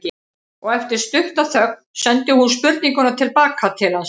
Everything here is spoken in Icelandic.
Og eftir stutta þögn sendi hún spurninguna til baka til hans.